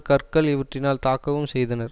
கற்கள் இவற்றினால் தாக்கவும் செய்தனர்